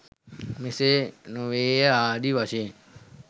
මෙසේ නොවේය ආදී වශයෙන්